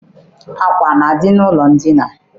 Akwa na-adị n'ụlọ edina.